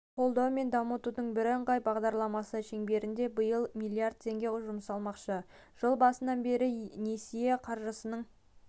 қолдау мен дамытудың бірыңғай бағдарламасы шеңберінде биыл миллиард теңге жұмсалмақшы жыл басынан бері несие қаржысының